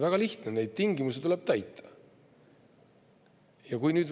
Väga lihtne: neid tingimusi tuleb täita.